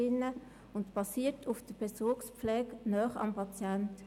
Es basiert auf der Bezugspflege nahe am Patienten.